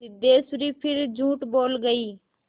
सिद्धेश्वरी फिर झूठ बोल गई